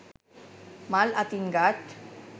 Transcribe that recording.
මල් අතින් ගත්